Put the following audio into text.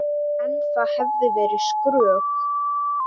En það hefði verið skrök.